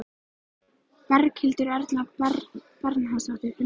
Berghildur Erla Bernharðsdóttir: Hvernig gekk?